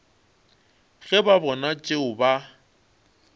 ge ba bona tšeo ba